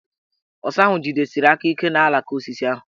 Ọsa ahụ jidesiri aka ike n' alaka osisi ahụ.